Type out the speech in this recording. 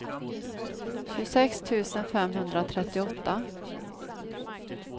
tjugosex tusen femhundratrettioåtta